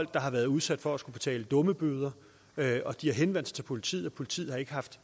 der har været udsat for at skulle betale dummebøder de har henvendt sig til politiet og politiet har ikke haft